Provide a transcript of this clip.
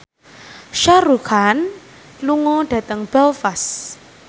Shah Rukh Khan lunga dhateng Belfast